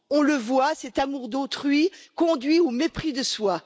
On le voit, cet amour d'autrui conduit au mépris de soi.